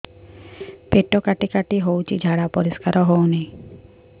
ପେଟ କାଟି କାଟି ହଉଚି ଝାଡା ପରିସ୍କାର ହଉନି